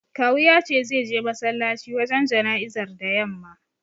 Kawu ya ce zai je masallaci wajen jana'izar da yamma.